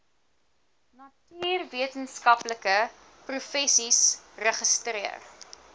natuurwetenskaplike professies registreer